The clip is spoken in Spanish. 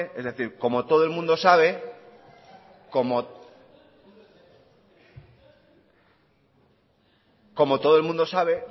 es decir como todo el mundo sabe como todo el mundo sabe